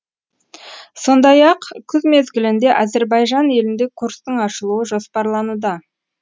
сондай ақ күз мезгілінде әзербайжан елінде курстың ашылуы жоспарлануда